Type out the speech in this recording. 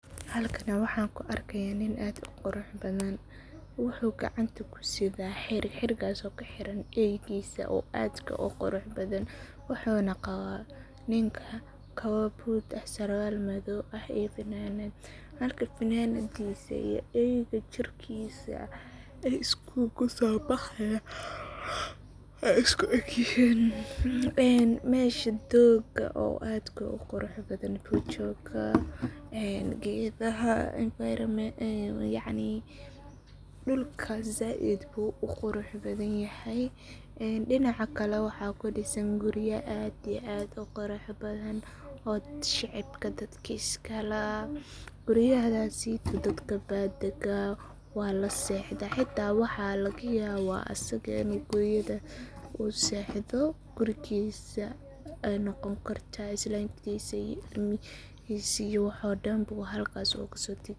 Halkan waxan ku arkaya nin aad u qurux badhan, wuxuu gacanta ku sidhaa xirig, xirigaso ku xiran eeygisa oo adka u qurux badhan wuxu na qawa ninka kawa boodh ah, sarwaal madhow ah iyo fananadh marka fananadisa iyo eeyga jirkisa way isku egyihin een meesha dooga oo aadka u qurux badan buu jooga een geedhaha yacni enviromentka, dulka zaid buu u qurux badhan yahay een dinaca kale waxa kudisan guriiya aad iyo aad u qurux badhan oo dadka shicibka iskalah guriyahasii dadka baa degaa wala seexda xitaa waxaa lagayawa asaga in uu guriyadha uu seexdho.